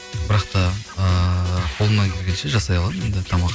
бірақ та ыыы қолымнан келгенше жасай аламын енді тамақ